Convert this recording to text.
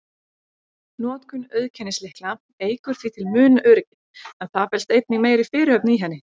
Notkun auðkennislykla eykur því til muna öryggið, en það felst einnig meiri fyrirhöfn í henni.